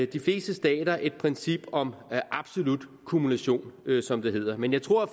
de fleste stater et princip om absolut kumulation som det hedder men jeg tror